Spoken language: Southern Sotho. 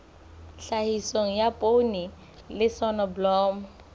tlhahiso ya poone le soneblomo